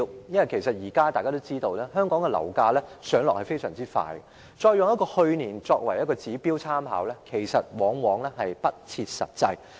因為大家也知道，現時香港的樓價上落非常快，以去年樓價作為參考指標，往往不切實際。